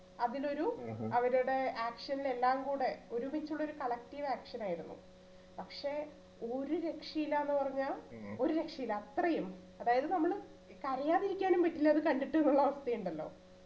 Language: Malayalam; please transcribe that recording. അതിലൊരു അവരുടെ action എല്ലാം കൂടെ ഒരുമിച്ചുള്ളൊരു collective action ആയിരുന്നു പക്ഷെ ഒരു രക്ഷയില്ലന്നു പറഞ്ഞാൽ ഒരു രക്ഷയില്ല അത്രയും അതായതു നമ്മള് കരയാതിരിക്കാനും പറ്റില്ല അത് കണ്ടിട്ടുന്നുള്ള അവസ്ഥയുണ്ടല്ലോ